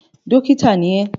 Dọ́kítá ni ẹ́!